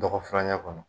Dɔgɔ furancɛ kɔnɔ